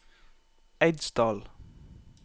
Eidsdal